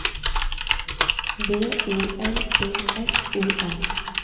V O L D S O M